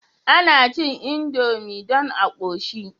Ana cin indomie dan a koshi